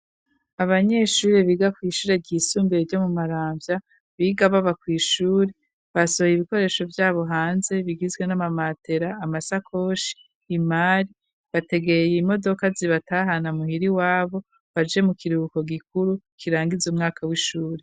Abanyeshure, biga kw'ishure ryisumbuye, ryo mu Maramvya, biga baba kw'ishuri, basohoye ibikoresho, vyabo hanze; bigizwe n'amamatera, amasakoshi, imari, bategeye imodoka, zibatahana muhira, iwabo, baje mu kiruhuko gikuru, kirangiza umwaka w'ishuri.